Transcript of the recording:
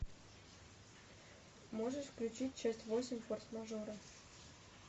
можешь включить часть восемь форс мажора